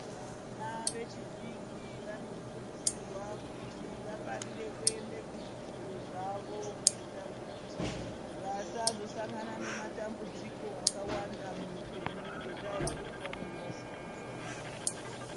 Vana vechidiki vanokurudzirwa kuti vafarire kuende kuzvidzidzo zvavo kuitira kuti vasazosangana nematambudziko akawanda muupenyu ngenda yekuti vanenge vasina kufunda.